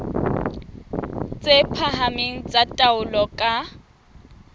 tse phahameng tsa taolo ka